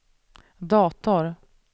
dator